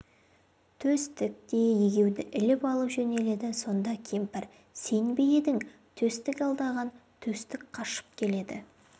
төстік те егеуді іліп алып жөнеледі сонда кемпір сен бе едің төстік алдаған төстік қашып келеді